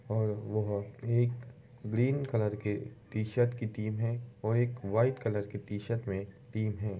और वह एक ग्रीन कलर के टी-शर्ट की टीम हैं और एक वाइट कलर की टी-शर्ट में टीम है।